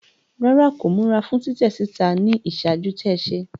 Rárá, ko mura fún titẹ síta ni iṣaaju-tẹ se